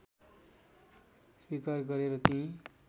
स्वीकार गरे र ती